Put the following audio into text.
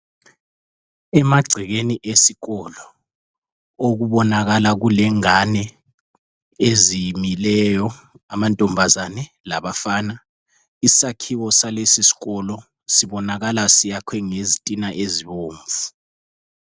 Emagcekeni esikolo okubonakala kulengani ezimileyo amambazana labafana lisakhiwo salesikolo sibonakala ngezintina ezibomvu.